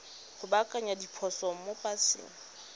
go baakanya diphoso mo paseng